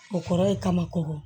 O kɔrɔ ye ka ma ko